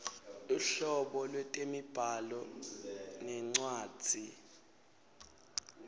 luhlobo lwetemibhalo nencwadzi